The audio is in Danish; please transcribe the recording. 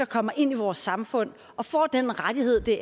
kommer ind i vores samfund og får den rettighed det